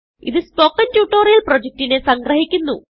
ഇതു spoken tutorial പ്രൊജക്റ്റിനെ സംഗ്രഹിക്കുന്നു